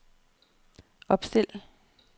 opstil